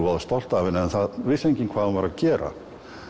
stolt af henni en það vissi enginn hvað hún var að gera